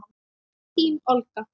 Þín Olga.